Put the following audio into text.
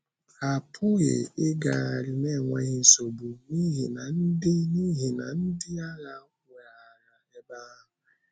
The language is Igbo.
Ha apụghị ịgagharị n’enweghị nsogbu, n’ihi na ndị n’ihi na ndị agha weghaara ebe ahụ.